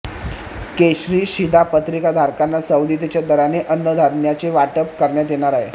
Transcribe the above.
केशरी शिधापत्रिकाधारकांना सवलतीच्या दराने अन्नधान्याचे वाटप करण्यात येणार आहे